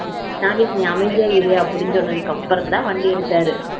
நாகேஷ் நீ அமைதியா இரு அப்படி அப்படின்னு சொன்னதுக்கு அப்புறம் தான் வண்டியா எடுத்தாரு